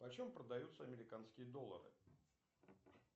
почем продаются американские доллары